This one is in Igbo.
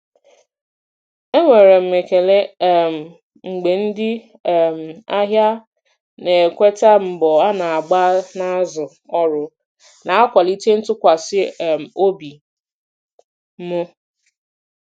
Enwere m ekele um mgbe ndị um ahịa na-ekweta mbọ a na-agba n'azụ ọrụ, na-akwalite ntụkwasị um obi m.